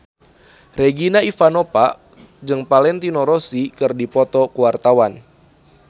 Regina Ivanova jeung Valentino Rossi keur dipoto ku wartawan